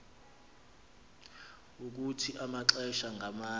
ukuthi amaxesha ngamanye